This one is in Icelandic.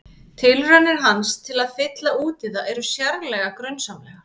Tilraunir hans til að fylla út í það eru sérlega grunsamlegar.